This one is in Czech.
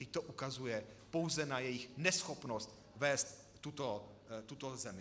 Vždyť to ukazuje pouze na jejich neschopnost vést tuto zemi.